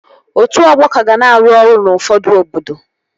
Otu ọgbọ ka ga na-arụ ọrụ n'ufọdụ obodo